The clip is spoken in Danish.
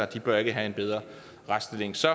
de bør ikke have en bedre retsstilling så